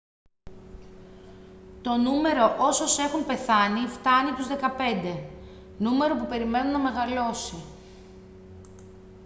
το νούμερο όσως έχουν πεθάνει φτάνει τους 15 νούμερο που περιμένουν να μεγαλώσει